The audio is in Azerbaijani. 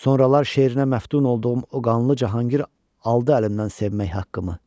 Sonralar şeirinə məftun olduğum o qanlı Cahangir aldı əlimdən sevmək haqqımı.